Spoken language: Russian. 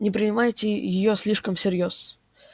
не принимайте её слишком всерьёз